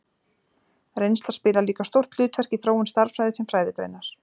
reynsla spilar líka stórt hlutverk í þróun stærðfræði sem fræðigreinar